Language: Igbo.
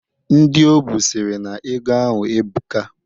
Ndị o bu sịrị na ego ahụ ebuka.